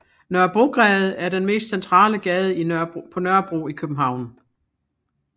Nørrebrogade er den mest centrale gade på Nørrebro i København